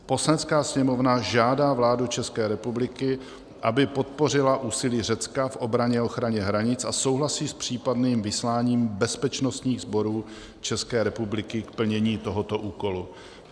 Poslanecká sněmovna žádá vládu České republiky, aby podpořila úsilí Řecka v obraně a ochraně hranic, a souhlasí s případným vysláním bezpečnostních sborů České republiky k plnění tohoto úkolu.